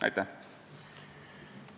Aitäh!